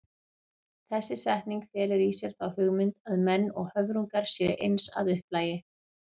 Þessi setning felur í sér þá hugmynd að menn og höfrungar séu eins að upplagi.